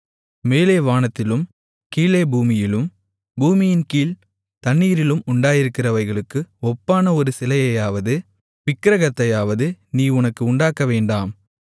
மேலே வானத்திலும் கீழே பூமியிலும் பூமியின் கீழ்த் தண்ணீரிலும் உண்டாயிருக்கிறவைகளுக்கு ஒப்பான ஒரு சிலையையாவது விக்கிரகத்தையாவது நீ உனக்கு உண்டாக்கவேண்டாம்